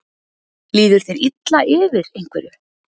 Líður þér illa yfir einhverju?